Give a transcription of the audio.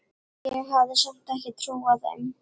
Ég hafði samt ekki trúað þeim.